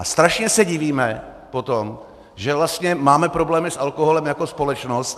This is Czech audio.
A strašně se divíme potom, že vlastně máme problémy s alkoholem jako společnost.